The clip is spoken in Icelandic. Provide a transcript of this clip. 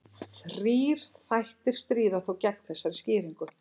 Þrír þættir stríða þó gegn þessari skýringu.